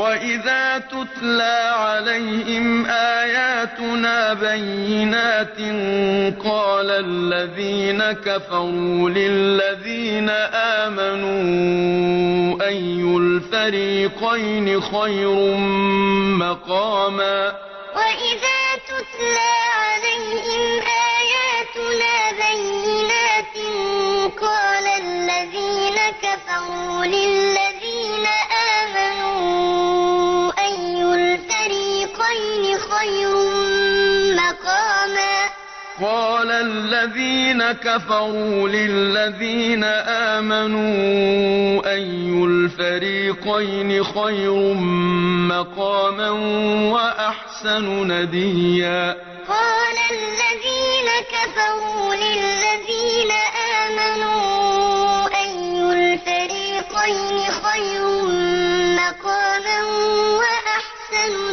وَإِذَا تُتْلَىٰ عَلَيْهِمْ آيَاتُنَا بَيِّنَاتٍ قَالَ الَّذِينَ كَفَرُوا لِلَّذِينَ آمَنُوا أَيُّ الْفَرِيقَيْنِ خَيْرٌ مَّقَامًا وَأَحْسَنُ نَدِيًّا وَإِذَا تُتْلَىٰ عَلَيْهِمْ آيَاتُنَا بَيِّنَاتٍ قَالَ الَّذِينَ كَفَرُوا لِلَّذِينَ آمَنُوا أَيُّ الْفَرِيقَيْنِ خَيْرٌ مَّقَامًا وَأَحْسَنُ